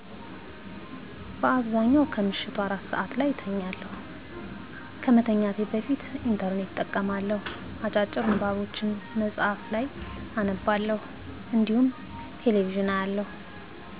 በአብዛኛው ከምሽቱ አራት ሰዐት ላይ እተኛለሁ። ከመተኛቴ በፊት "ኢንተርኔት" እጠቀማለሁ፣ አጫጭር ንባቦችን መጽሀፍ ላይ አነባለሁ እንዲሁም ቴሌ ቪዥን አያለሁ።